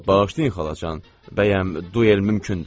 Bağışlayın, xalacan, bəyəm duel mümkündür?